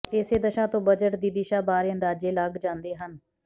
ਇਸੇ ਦਸ਼ਾ ਤੋਂ ਬਜਟ ਦੀ ਦਿਸ਼ਾ ਬਾਰੇ ਅੰਦਾਜ਼ੇ ਲੱਗ ਜਾਂਦੇ ਹਨ